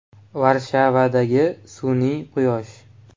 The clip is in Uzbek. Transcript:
Varshavadagi sun’iy “quyosh” .